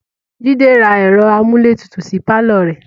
Jide ra ẹ̀rọ amúlétutù sí pàlọ́ rẹ̀